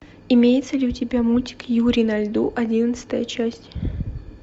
имеется ли у тебя мультик юрий на льду одиннадцатая часть